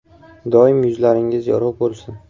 Doim yuzlaringiz yorug‘ bo‘lsin.